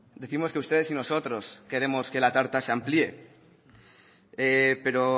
décimos que ustedes y nosotros queremos que la tarta se amplíe pero